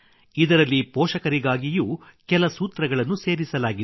ಇದರಲ್ಲಿ ಪೋಷಕರಿಗಾಗಿಯೂ ಕೆಲ ಸೂತ್ರಗಳನ್ನು ಸೇರಿಸಲಾಗಿದೆ